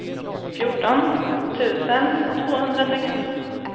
fjorton tusen tvåhundrasextio